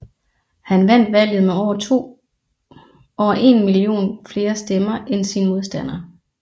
Han vandt valget med over en million flere stemmer end sin modstander